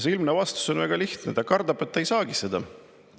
See vastus on väga lihtne: ta kardab, et ta ei saagi seda.